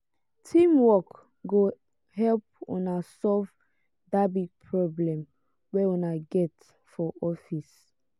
teamwork go help una solve dat big problem wey una get for office.